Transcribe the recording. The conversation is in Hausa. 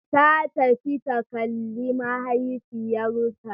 Ta tafi ta kalle mahaifiyarta.